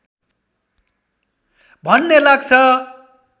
भन्ने लाग्छ